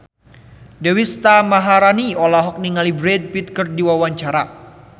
Deswita Maharani olohok ningali Brad Pitt keur diwawancara